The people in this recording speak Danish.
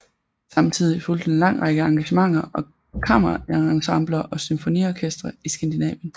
Samtidigt fulgte en lang række engagementer med kammerensembler og symfoniorkestre i skandinavien